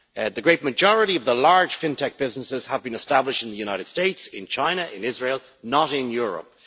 The great majority of the large FinTech businesses have been established in the United States, in China and Israel not in Europe.